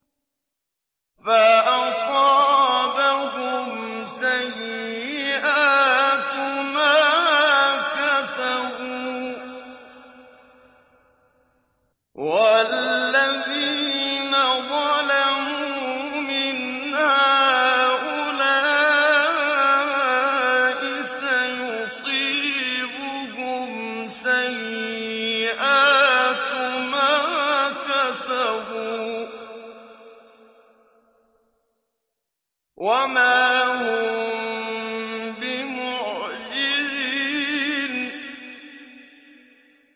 فَأَصَابَهُمْ سَيِّئَاتُ مَا كَسَبُوا ۚ وَالَّذِينَ ظَلَمُوا مِنْ هَٰؤُلَاءِ سَيُصِيبُهُمْ سَيِّئَاتُ مَا كَسَبُوا وَمَا هُم بِمُعْجِزِينَ